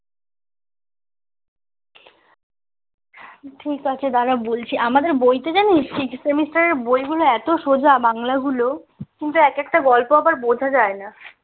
ঠিক আছে দাঁড়া বলছি আমাদের বইতে জানিস six semester এর বইগুলো এত সোজা বাংলা গুলো কিন্তু এক একটা গল্প আবার বোঝা যায় না